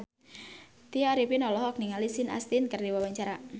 Tya Arifin olohok ningali Sean Astin keur diwawancara